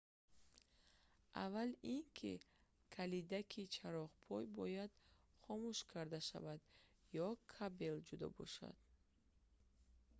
аввал ин ки калидаки чароғпоя бояд хомӯш карда шавад ё кабел ҷудо бошад